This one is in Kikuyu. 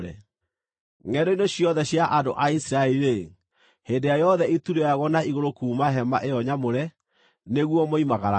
Ngʼendo-inĩ ciothe cia andũ a Isiraeli-rĩ, hĩndĩ ĩrĩa yothe itu rĩoyagwo na igũrũ kuuma hema ĩyo nyamũre, nĩguo moimagaraga;